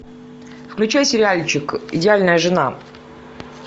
включай сериальчик идеальная жена